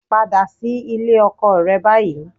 Padà sí ilé ọkọ rẹ báyìí